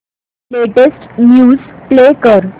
latest news play कर